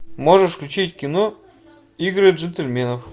можешь включить кино игры джентельменов